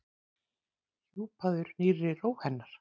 Hjúpaður nýrri ró hennar.